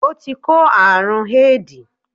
O ti kó àrún éèdì.